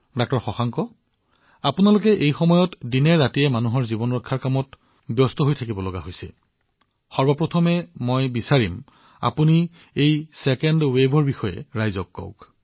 ডাঃ শশাংক আপোনালোকে বৰ্তমান জীৱন ৰক্ষাৰ বাবে দিনৰাতিয়ে কাম কৰি আছে প্ৰথমতে মই বিচাৰো যে আপুনি জনসাধাৰণক দ্বিতীয় ঢৌৰ বিষয়ে কওক